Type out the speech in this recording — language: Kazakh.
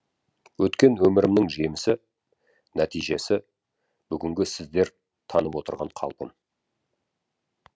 өткен өмірімнің жемісі нәтижесі бүгінгі сіздер танып отырған қалпым